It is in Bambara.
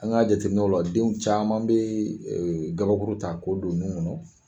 An ka jateminɛw la denw caman be ee gabakuru ta ko don u nun kɔnɔ